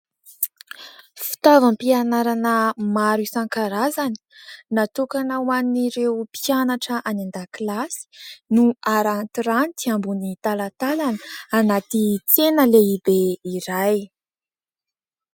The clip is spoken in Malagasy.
Fitaovam-pianarana maro isan-karazany natokana ho an'ireo mpianatra any an-dakilasy no arantiranty ambon'ny talatalana anaty tsena lehibe iray.